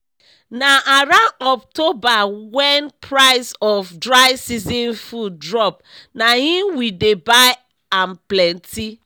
na around october wen price of dry season food drop na im we dey buy am plenty